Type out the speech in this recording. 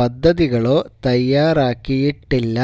പദ്ധതികളോ തയാറാക്കിയിട്ടില്ല